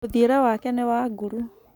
Mũthiĩre wake nĩ wa nguru.